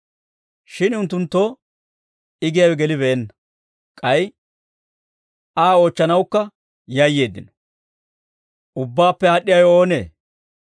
Shin unttunttoo I giyaawe gelibeenna; k'ay Aa oochchanawukka yayyeeddino.